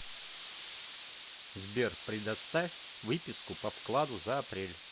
сбер предоставь выписку по вкладу за апрель